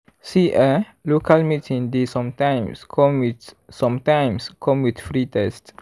see eh local meeting dey sometimes come with sometimes come with free test.